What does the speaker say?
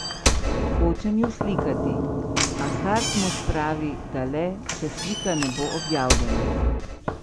Hočem ju slikati, a Hartmud pravi, da le, če slika ne bo objavljena.